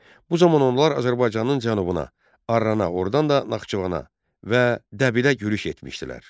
Bu zaman onlar Azərbaycanın cənubuna, Arrana, ordan da Naxçıvana və Dəbilə yürüş etmişdilər.